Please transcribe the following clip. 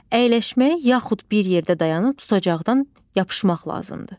Əyləşməyə yaxud bir yerdə dayanıb tutacaqdan yapışmaq lazımdır.